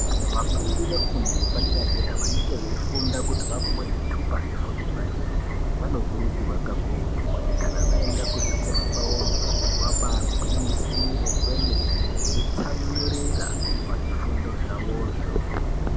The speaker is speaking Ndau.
Vafundi vefundo yepadera dera vanenge veyifunda kuti vapiwe zvitupa zvefundo yepadera vanokurudzirwa kakurutu kuti kana vaenda kuzvikora kwavoyo vambayigwinyisire kwemene veitsamwirira pazvifundo zvavozvo.